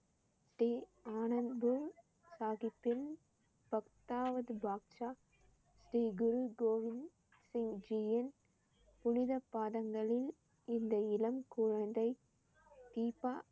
ஸ்ரீ அனந்த்பூர் சாஹிப்பின் பத்தாவது பாட்சா ஸ்ரீ குரு கோபிந்த் சிங் ஜியின் புனித பாதங்களில் இந்த இளம் குழந்தை தீபா